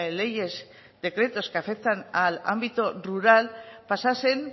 leyes decretos que afectan al ámbito rural pasasen